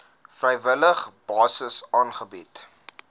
vrywillige basis aangebied